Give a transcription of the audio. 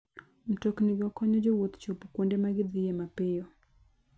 Mtoknigo konyo jowuoth chopo kuonde ma gidhiye mapiyo.